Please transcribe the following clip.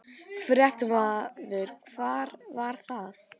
Fréttamaður: Hvar var það?